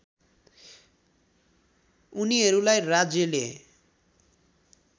उनीहरूलाई राज्यले